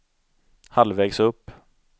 halvvägs upp